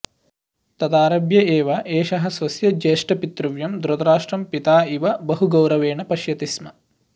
तदारभ्य एव एषः स्वस्य ज्येष्ठपितृव्यं धृतराष्ट्रं पिता इव बहु गौरवेण पश्यति स्म